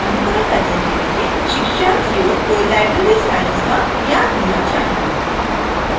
इस tutorial का अनुकरण करने के लिए शिक्षार्थियों को library science का ज्ञान होना चाहिए